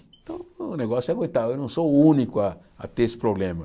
Então o negócio é aguentar, eu não sou o único a a ter esse problema.